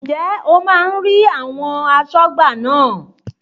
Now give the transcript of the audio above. Ǹjẹ́ o máa ń rí àwọn asọ́gbà náà?